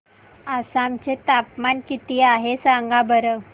आसाम चे तापमान किती आहे सांगा बरं